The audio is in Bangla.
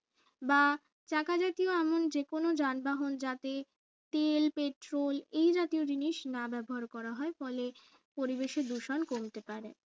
বা চাকা জাতীয় এমন যেকোনো যানবাহন যাতে তেল petrol এই জাতীয় জিনিস না ব্যবহার করা হয় ফলে পরিবেশে দূষণ কমতে পারে